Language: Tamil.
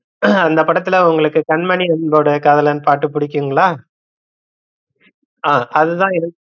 ஆஹ் அந்த படத்துல உங்களுக்கு கண்மணி அன்போடு காதலன் பாட்டு புடிக்குங்களா? ஆஹ் அதுதா எனக்